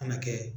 Kana kɛ